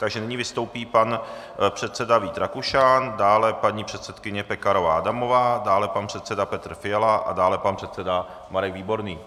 Takže nyní vystoupí pan předseda Vít Rakušan, dále paní předsedkyně Pekarová Adamová, dále pan předseda Petr Fiala a dále pan předseda Marek Výborný.